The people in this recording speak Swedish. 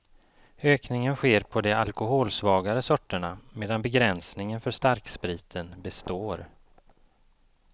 Ökningen sker på de alkoholsvagare sorterna, medan begränsningen för starkspriten består.